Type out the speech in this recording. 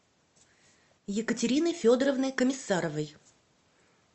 екатерины федоровны комиссаровой